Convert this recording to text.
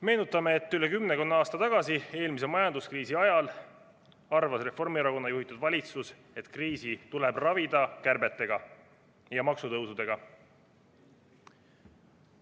Meenutame, et rohkem kui kümme aastat tagasi, eelmise majanduskriisi ajal arvas Reformierakonna juhitud valitsus, et kriisi tuleb ravida kärbete ja maksutõusudega.